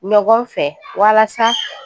Ɲɔgɔn fɛ walasa